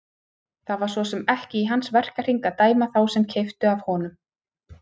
Það var svo sem ekki í hans verkahring að dæma þá sem keyptu af honum.